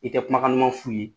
I tɛ kumakan duman f' ye